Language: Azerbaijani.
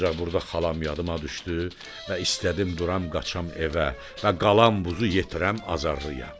Ancaq burda xalam yadıma düşdü və istədim duram qaçam evə və qalan buzu yetirəm Azarlıya.